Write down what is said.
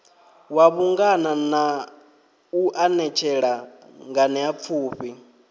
wa vhungana u anetshela nganeapfufhi